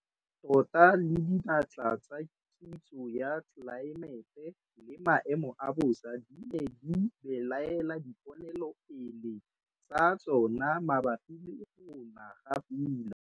TOTA LE DINATLA TSA KITSO YA TLELAEMETE LE MAEMO A BOSA DI NE DI BELAELA DIPONELOPELE TSA TSONA MABAPI LE GO NA GA PULA.